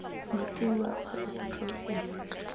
metsi wua kgotsa setheo sengwe